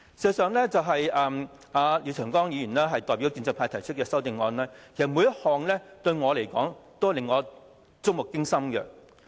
事實上，廖長江議員代表建制派提出的每一項修正案，對我來說也是觸目驚心的。